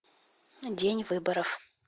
день выборов